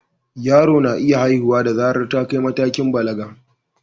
Yaro na iya haihuwa da zarar ta kai matakin balaga.